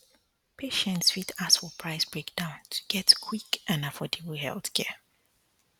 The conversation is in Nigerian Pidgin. patients fit ask for price breakdown to get quick and affordable healthcare